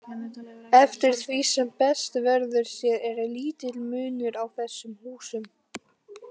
Eftir því sem best verður séð er lítill munur á þessum húsum.